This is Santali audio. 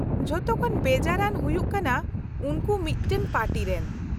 -ᱡᱷᱚᱛᱚᱠᱷᱚᱱ ᱵᱮᱡᱟᱨ ᱟᱱ ᱦᱩᱭᱩᱜ ᱠᱟᱱᱟ ᱩᱱᱠᱩ ᱢᱤᱫᱴᱟᱝ ᱯᱟᱨᱴᱤ ᱨᱮᱱ ᱾